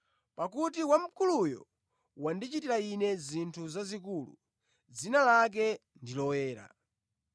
pakuti Wamkuluyo wandichitira ine zinthu zazikulu, dzina lake ndi loyera.